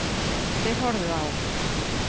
Þeir horfðu á.